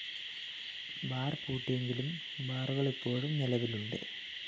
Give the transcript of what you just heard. bar പൂട്ടിയെങ്കിലും ബാറുകള്‍ ഇപ്പോഴും നിലവിലുണ്ട്